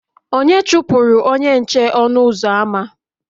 onye chụpụrụ onye nche ọnụ ụzọ ámá